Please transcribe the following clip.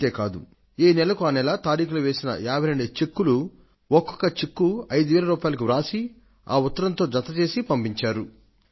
అంతే కాదు ఏ నెలకు ఆ నెల తారీఖులు వేసిన 52 చెక్కులు ఒక్కొక్క చెక్కు 5000 రూపాయలకు రాసి ఆ ఉత్తరంతో జత చేసి పంపించారు